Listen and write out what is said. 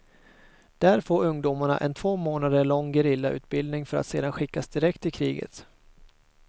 Där får ungdomarna en två månader lång gerillautbildning för att sedan skickas direkt till kriget.